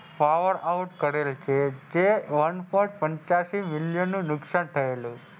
Power house કરેલ છે જે one point પંચાસી મિલિયન નું નુકસાન થયેલ છે.